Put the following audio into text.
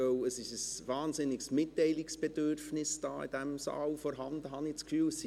Denn es ist in diesem Saal ein wahnsinniges Mitteilungsbedürfnis vorhanden, habe ich den Eindruck.